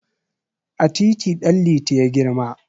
A titi Ɗanliti ya girma.